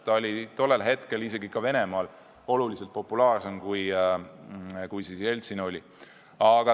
Ta oli tollal ka Venemaal oluliselt populaarsem, kui Jeltsin siis oli.